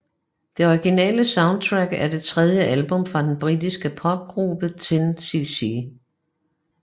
The Original Soundtrack er det tredje album fra den britisk popgruppe 10cc